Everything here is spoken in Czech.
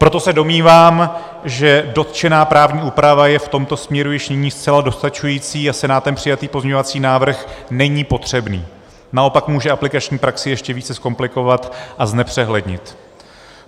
Proto se domnívám, že dotčená právní úprava je v tomto směru již nyní zcela dostačující a Senátem přijatý pozměňovací návrh není potřebný, naopak může aplikační praxi ještě více zkomplikovat a znepřehlednit.